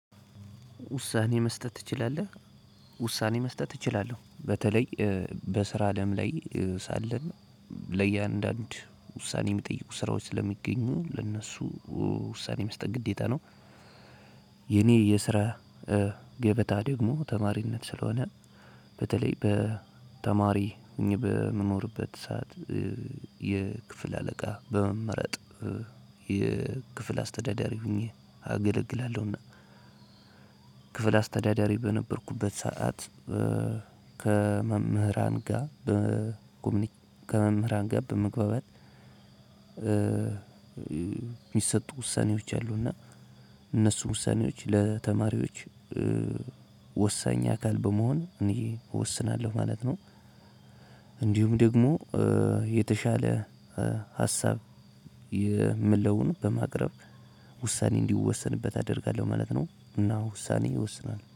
ውሳኔ መስጠት ትችላለህ? ውሳኔ መስጠት እችላለሁ። በተለይ በስራ አለም ላይ ሳለን ለእያንዳንዱ ውሳኔ የሚጠይቁ ስራዎች ስለሚገኙ ለእነሱ ውሳኔ መስጠት ግዴታ ነው የኔ የስራ ገበታ ደግሞ ተማሪነት ስለሆነ በተለይ በተማሪ እኚህ በምኖርበት ሰዓት የክፍል አለቃ በመመረጥ የክፍል አስተዳዳሪ ሆኘ አገልግላለሁና ክፍል አስተዳደሪ በነበርኩበት ሰዓት ከመምህራን ጋር በጉብኝ ከመምህራን ጋር በመግባባት የሚሰጡ ውሳኔዎች አሉና እነሱ ውሳኔዎች ለተማሪዎች ወሳኝ አካል በመሆን እኔ እወስናለሁ ማለት ነው። እንዲሁም ደግሞ የተሻለ ሀሳብ የምለውን በማቅረብ ውሳኔ እንዲወሰንበት አደርጋለሁ ማለት ነው እና ውሳኔ ይወስናል